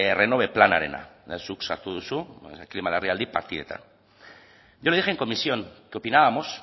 renove planarena zuk sartu duzu klima larrialdi partidetan yo le dije en comisión que opinábamos